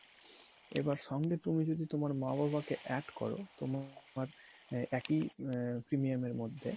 এবার সঙ্গে যদি তুমি তোমার মা বাবা কে add করো তোমার একই premium এর মধ্যে